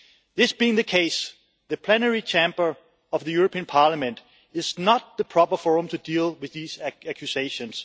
This being the case, the plenary chamber of the European Parliament is not the proper forum to deal with these accusations.